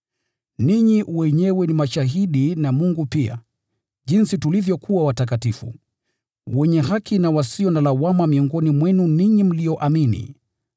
Ninyi wenyewe ni mashahidi na Mungu pia, jinsi tulivyokuwa watakatifu, wenye haki na wasio na lawama miongoni mwenu ninyi mlioamini.